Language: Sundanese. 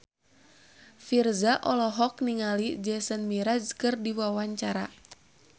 Virzha olohok ningali Jason Mraz keur diwawancara